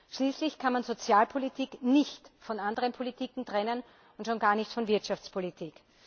Schließlich kann man Sozialpolitik nicht von anderen Politiken trennen und schon gar nicht von der Wirtschaftspolitik.